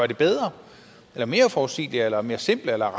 det bedre eller mere forudsigeligt eller mere simpelt eller